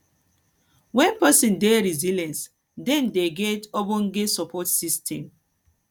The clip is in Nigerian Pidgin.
when person dey resilient dem dey get ogbonge support system